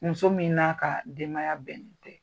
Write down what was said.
Muso min n'a ka denbay bɛnnen tɛ.